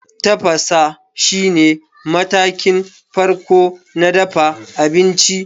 Tafasa shine matakin farko na dafa abinci.